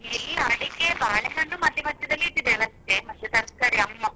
ಇಲ್ಲ ಅಡಿಕೆ ಬಾಳೆಹಣ್ಣು ಮದ್ಯ ಮದ್ಯದಲ್ಲಿ ಇಟ್ಟಿದ್ದೇವೆ ಅಷ್ಟೆ ಮತ್ತೆ ತರ್ಕಾರಿ ಅಮ್ಮ.